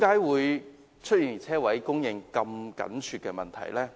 為甚麼車位供應這麼緊絀呢？